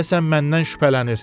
Deyəsən məndən şübhələnir.